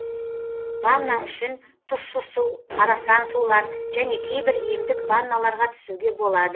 ванна үшін тұщы су арасан сулар және кейбір емдік ванналарға түсуге болады